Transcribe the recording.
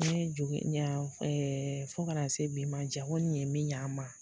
fo kana se bi ma jago nin ye min ɲɛ a ma.